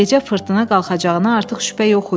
Gecə fırtına qalxacağına artıq şübhə yox idi.